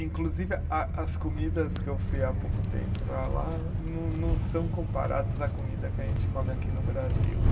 Inclusive, a as comidas que eu fui há pouco tempo para lá não não são comparados à comida que a gente come aqui no Brasil.